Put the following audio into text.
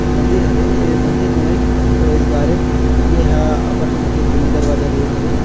मंदिर हरे ए मंदिर नो ऐ प्रवेश द्वार ए अपन मन के दिल्ली दरवाजा रोड हरे।